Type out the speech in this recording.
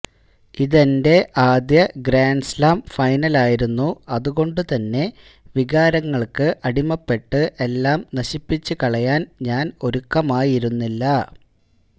ഇതെന്റെ ആദ്യ ഗ്രാന്ഡ്സ്ലാം ഫൈനലായിരുന്നു അതുകൊണ്ടു തന്നെ വികാരങ്ങള്ക്ക് അടിമപ്പെട്ട് എല്ലാം നശിപ്പിച്ചു കളയാന് ഞാന് ഒരുക്കമായിരുന്നില്ല